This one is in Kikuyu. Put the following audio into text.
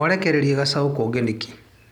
Mwarekereria gacaũ konge nĩkĩ.